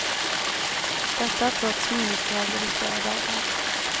Detta trots minusgrader i flera dagar.